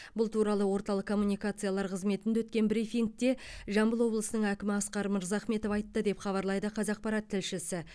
бұл туралы орталық коммуникациялар қызметінде өткен брифингте жамбыл облысының әкімі асқар мырзахметов айтты деп хабарлайды қазақпарат тілшісі